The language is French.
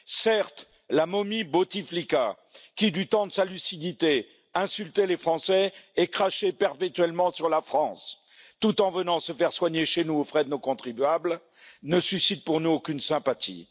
Certes, la momie Bouteflika qui, du temps de sa lucidité, insultait les Français et crachait perpétuellement sur la France, tout en venant se faire soigner chez nous aux frais de nos contribuables, ne suscite en nous aucune sympathie.